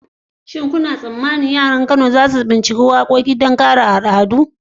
Shin kuna tsammanin yara a Kano za su binciko sabbin nau'ikan waƙoƙi don kiyaye al'adu?